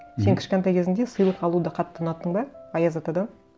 мхм сен кішкентай кезіңде сыйлық алуды қатты ұнаттың ба аяз атадан